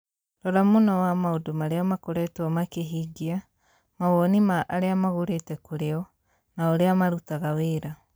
Rora mũno wa maũndũ marĩa makoretwo makĩhingia, mawoni ma arĩa magũrĩte kũrĩ o, na ũrĩa marutaga wĩra.